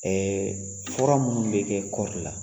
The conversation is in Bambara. fura minnu bɛ kɛ kɔɔri la